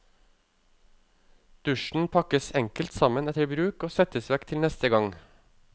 Dusjen pakkes enkelt sammen etter bruk og settes vekk til neste gang.